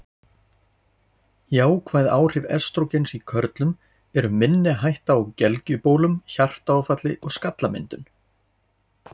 Jákvæð áhrif estrógens í körlum eru minni hætta á gelgjubólum, hjartaáfalli og skallamyndun.